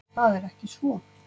Það er ekki svo.